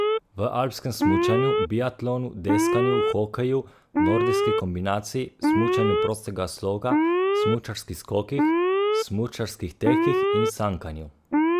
V alpskem smučanju, biatlonu, deskanju, hokeju, nordijski kombinaciji, smučanju prostega sloga, smučarskih skokih, smučarskih tekih in sankanju.